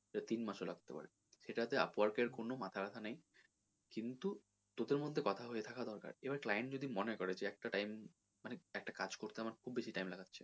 সে তিন মাস ও লাগতে পারে সেটা তে upwork এর কোনো মাথা ব্যাথা নেই কিন্তু তোদের মধ্যে কথা হয়ে থাকা দরকার এবার client যদি মনে করে একটা time মানে একটা কাজ করতে আমার খুব বেশি time লাগাচ্ছে,